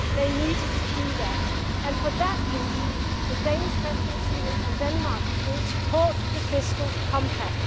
They need to do that and, for that reason, the Danish Presidency and Denmark will support the fiscal compact.